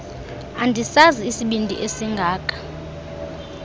andisazi isibindi esingaka